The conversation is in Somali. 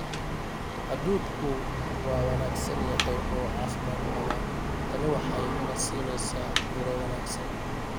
Hadhuudhku waa wanaagsan yahay oo caafimaad qabaa tani waxay ina siinaysaa miro wanaagsan.